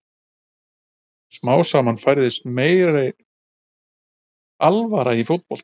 Smám saman færðist meiri alvara í fótboltann.